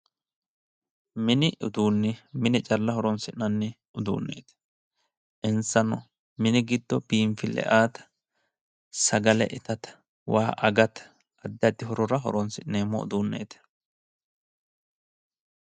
Mini uduunni mine calla horonsi'nanni uduunneeti. insano moni giddo biinfille aate sagale itate waa agate addi addi horora horonsi'neemmo uduunneeti.